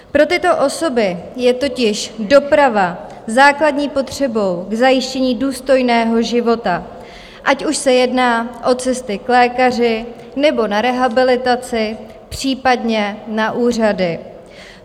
Pro tyto osoby je totiž doprava základní potřebou k zajištění důstojného života, ať už se jedná o cesty k lékaři, nebo na rehabilitaci, případně na úřady.